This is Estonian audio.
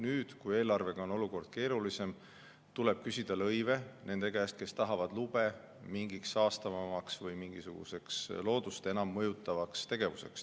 Nüüd, kui eelarvega on olukord keerulisem, tuleb küsida lõive nende käest, kes tahavad lube mingiks saastavamaks või mingisuguseks loodust enam mõjutavaks tegevuseks.